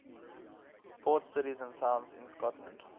port cities and towns in scotland